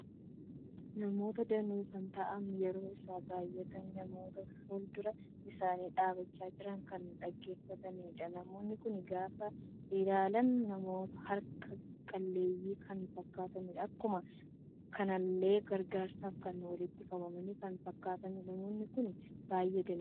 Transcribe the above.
Namoota danuu kan ta'an yeroo isaan baay'atani namoota fuldura isaani dhabbacha jiran kan dhaggeeffatanidha. Namoonni kun gaafa ilaalsn namoota harkaa qalleeyyi kan fakkatanidha. Akkuma kanallee gargaarsaf kan walitti qabaman kan fakkatudha. Namoonni kun baay'ee danuudha.